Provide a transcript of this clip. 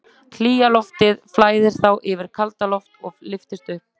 Hlýja loftið flæðir þá yfir kaldara loft og lyftist upp.